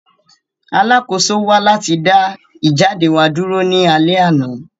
Alakoso wa lati da ijade wa duro ni alẹ ana.